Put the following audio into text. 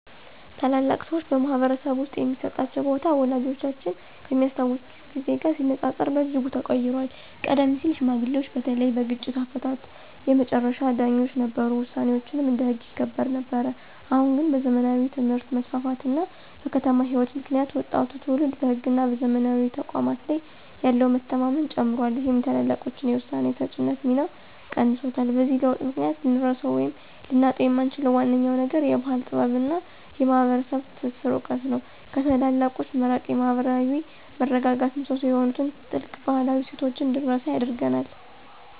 ታላላቅ ሰዎች በማኅበረሰብ ውስጥ የሚሰጣቸው ቦታ ወላጆቻችን ከሚያስታውሱት ጊዜ ጋር ሲነጻጸር በእጅጉ ተቀይሯል። ቀደም ሲል ሽማግሌዎች በተለይም በግጭት አፈታት የመጨረሻ ዳኞች ነበሩ፤ ውሳኔያቸውም እንደ ሕግ ይከበር ነበር። አሁን ግን በዘመናዊ ትምህርት መስፋፋት እና በከተማ ሕይወት ምክንያት ወጣቱ ትውልድ በሕግና በዘመናዊ ተቋማት ላይ ያለው መተማመን ጨምሯል ይህም የታላላቆችን የውሳኔ ሰጪነት ሚና ቀንሶታል። በዚህ ለውጥ ምክንያት ልንረሳው ወይም ልናጣው የምንችለው ዋነኛው ነገር የባሕል ጥበብና የማኅበረሰብ ትስስር እውቀት ነው። ከታላላቆች መራቅ የማኅበራዊ መረጋጋት ምሰሶ የሆኑትን ጥልቅ ባህላዊ እሴቶች እንድንረሳ ያደርገናል።